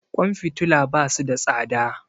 Kwan fitila basu da tsada